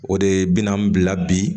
O de bi n'an bila bi